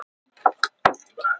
Sæbjört, hækkaðu í hátalaranum.